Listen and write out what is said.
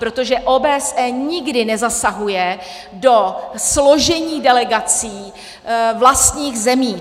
Protože OBSE nikdy nezasahuje do složení delegací vlastních zemí.